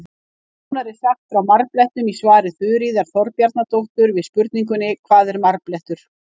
Nánar er sagt frá marblettum í svari Þuríðar Þorbjarnardóttur við spurningunni Hvað er marblettur?